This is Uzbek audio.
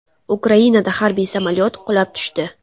Ukrainada harbiy samolyot qulab tushdi.